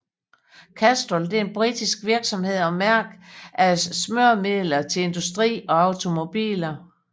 Castrol er en britisk virksomhed og mærke af smøremidler til industri og automobiler